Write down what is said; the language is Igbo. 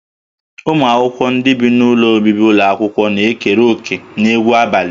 Ụmụ akwụkwọ ndị bi n'ụlọ obibi ụlọ akwụkwọ na-ekere òkè n'egwu abalị